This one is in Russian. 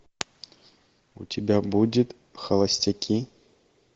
у тебя будет холостяки